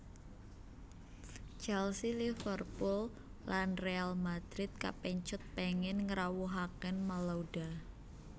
Chelsea Liverpooll lan Real Madrid kapèncut pèngin ngrawuhaken Malouda